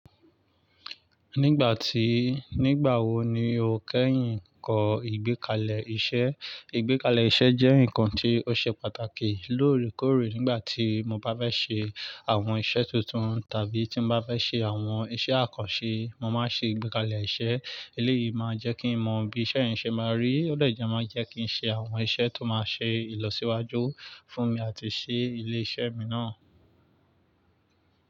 Nígbà tí, nígbà wo ni o kẹ́yìn ń kọ ìgbékalẹ̀ iṣẹ́? Ìgbékalẹ̀ iṣẹ́ jẹ́ ǹkan tí ó ṣe pàtàkì lóòrèkóòrè nígbà tí mo bá fẹ́ ṣe àwọn iṣẹ́ tuntun tàbí tí mo bá fẹ́ ṣe àwọn iṣẹ́ àkànṣe. Mo máa ṣe ìgbékalẹ̀ iṣẹ́. Eléyìí máa jẹ́ kí n mọ bí iṣẹ́ yẹn ṣe máa rí, ó dàjà máa jẹ́ kí n ṣe àwọn iṣẹ́ tó máa ṣe ìlọsíwájú fún mi àti ṣi ilé iṣẹ́ mi náà.